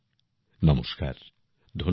নমস্কার ধন্যবাদ